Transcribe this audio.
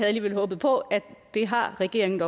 alligevel håbet på at det har regeringen